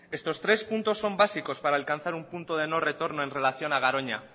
estos tres puntos son básicos para alcanzar un punto de no retorno en relación a garoña